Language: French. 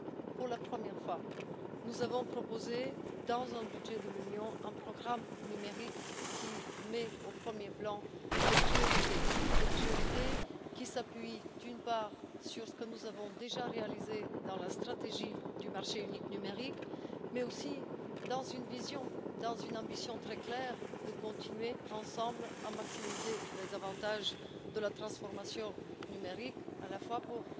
Pour la première fois, nous avons proposé dans un budget de l'Union un programme numérique qui met au premier plan des priorités, lesquelles s'appuient, d'une part sur ce que nous avons déjà réalisé dans la stratégie du marché unique numérique, mais aussi sur une vision, sur une ambition très claire de continuer ensemble à maximiser les avantages de la transformation numérique, à la fois pour